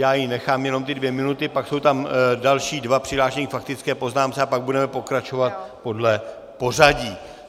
Já jí nechám jenom ty dvě minuty, pak jsou tam další dva přihlášení k faktické poznámce, a pak budeme pokračovat podle pořadí.